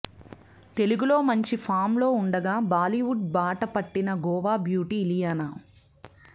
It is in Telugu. తెలుగు లో మంచి ఫాంలో ఉండగా బాలీవుడ్ బాట పట్టిన గోవా బ్యూటి ఇలియానా